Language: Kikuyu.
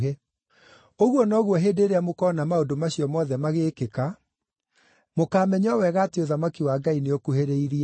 Ũguo noguo hĩndĩ ĩrĩa mũkoona maũndũ macio mothe magĩkĩka, mũkaamenya o wega atĩ ũthamaki wa Ngai nĩũkuhĩrĩirie.